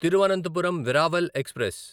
Thiruvananthapuram Veraval express